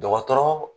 Dɔgɔtɔrɔ